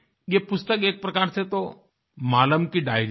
ये पुस्तक एक प्रकार से तो मालम मालम की डायरी है